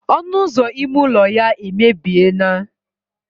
ọnụ ụzọ ime ụlọ ya emebie naa